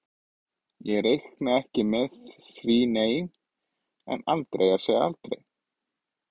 Ég reikna ekki með því nei, en aldrei að segja aldrei.